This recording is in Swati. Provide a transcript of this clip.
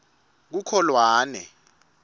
kukholwane